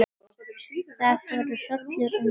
Það fór hrollur um mig.